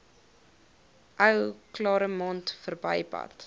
ou claremont verbypad